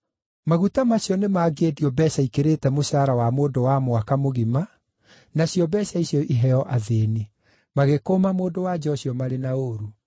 Maguta macio nĩmangĩendio mbeeca ikĩrĩte mũcara wa mũndũ wa mwaka mũgima nacio mbeeca icio iheo athĩĩni.” Magĩkũũma mũndũ-wa-nja ũcio marĩ na ũũru.